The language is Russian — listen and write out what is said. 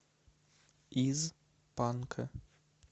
из панка